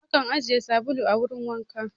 Akan ajiye sabulu a wurin wanka